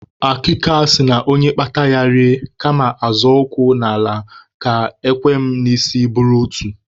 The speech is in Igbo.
Akịka sị na onye kpata ya rie kama a zọọ ụkwụ n'ala ka ekwem n'isi buru otu.